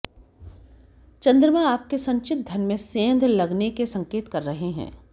चंद्रमा आपके संचित धन में सेंध लगने के संकेत कर रहे हैं